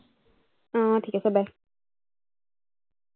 আহ ঠিক আছে bye